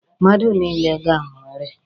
Mmadụ niile ga-anwụrịrị.